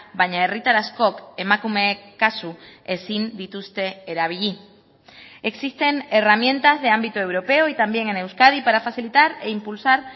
baina herritar askok emakumeek kasu ezin dituzte erabili existen herramientas de ámbito europeo y también en euskadi para facilitar e impulsar